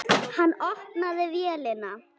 Hann opnaði vélina.